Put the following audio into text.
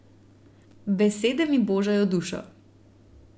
Besede mi božajo dušo.